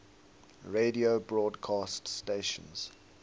radio broadcast stations